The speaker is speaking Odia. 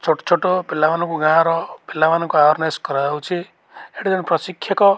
ଛୋଟ-ଛୋଟ ପିଲାମାନଙ୍କୁ ଗାଁର ପିଲାମାନଙ୍କୁ ଆୱାର୍ନେସ୍ କରାଯାଉଛି ହେଟି ଜଣେ ପ୍ରଶିକ୍ଷକ --